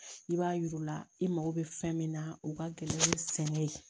I b'a yir'u la i mago bɛ fɛn min na u ka gɛlɛn ni sɛnɛ ye